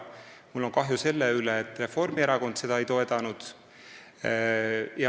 Mul on kahju selle pärast, et Reformierakond seda ei toetanud.